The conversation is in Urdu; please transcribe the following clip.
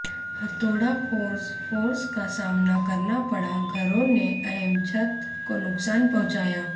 ہتھوڑا فورس فورسز کا سامنا کرنا پڑا گھروں نے اہم چھت کو نقصان پہنچایا